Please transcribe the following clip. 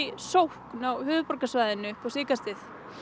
sókn á höfuðborgarsvæðinu upp á síðkastið